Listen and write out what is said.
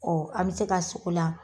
an bɛ se ka sok'o la